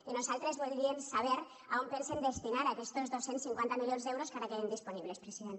i nosaltres voldríem saber a on pensen destinar aquestos dos cents i cinquanta milions d’euros que ara queden disponibles president